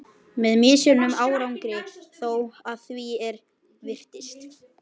Með misjöfnum árangri þó, að því er virtist.